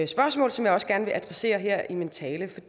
spørgsmål som jeg også gerne vil adressere her i min tale